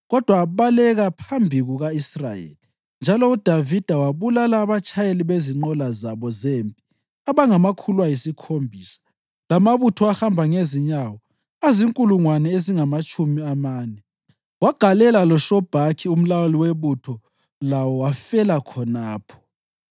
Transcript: Kodwa abaleka phambi kuka-Israyeli, njalo uDavida wabulala abatshayeli bezinqola zabo zempi abangamakhulu ayisikhombisa lamabutho ahamba ngezinyawo azinkulungwane ezingamatshumi amane. Wagalela loShobhakhi umlawuli webutho lawo, wafela khonapho.